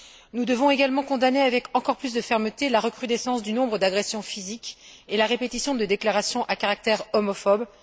Nous devons également condamner avec encore plus de fermeté la recrudescence du nombre d'agressions physiques et la répétition de déclarations à caractère homophobe.